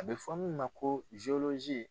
A bɛ fɔ mun ma ko